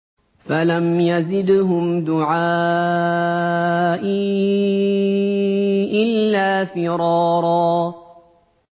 فَلَمْ يَزِدْهُمْ دُعَائِي إِلَّا فِرَارًا